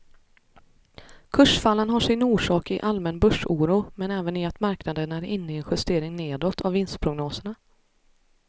Kursfallen har sin orsak i allmän börsoro men även i att marknaden är inne i en justering nedåt av vinstprognoserna.